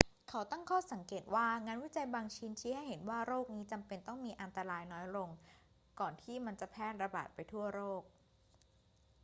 เขาตั้งข้อสังเกตว่า งานวิจัยบางชิ้นชี้ให้เห็นว่าโรคนี้จำเป็นต้องมีอันตรายน้อยลงก่อนที่มันจะแพร่ระบาดไปทั่วโลก